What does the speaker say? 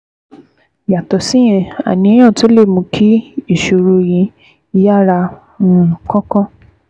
Yàtọ̀ síyẹn, àníyàn tún lè mú kí ìṣòro yìí yára um kánkán